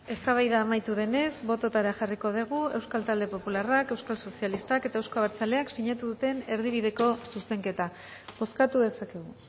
eztabaida amaitu denez bototara jarriko euskal talde popularrak euskal sozialistak eta euzko abertzaleak sinatu duten erdibideko zuzenketa bozkatu dezakegu